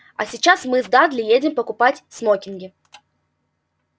а сейчас мы с дадли едем покупать смокинги